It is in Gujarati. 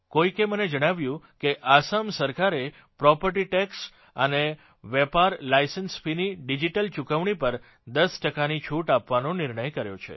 કોઇકે મને જણાવ્યું કે આસામ સરકારે પ્રોપર્ટી ટેક્ષ અને વેપાર લાયસન્સ ફીની ડિજીટલ ચૂકવણી પર 10 ટકાની છૂટ આપવાનો નિર્ણય કર્યો છે